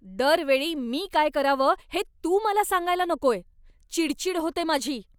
दरवेळी मी काय करावं हे तू मला सांगायला नकोय. चिडचिड होते माझी.